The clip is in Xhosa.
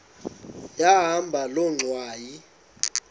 yahamba loo ngxwayi